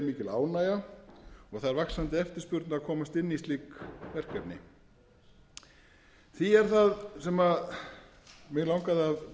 og það er vaxandi eftirspurn að komast inn í slík verkefni því er það sem mig langaði að